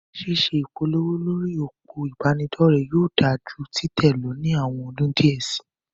Ṣíṣe ìpolówó lórí òpó ìbánidọ́rẹ̀ yóò dáa ju títẹ̀ lọ ní àwọn ọdún díẹ̀ síi.